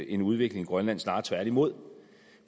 en udvikling i grønland snarere tværtimod